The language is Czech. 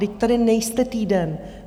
Vždyť tady nejste týden.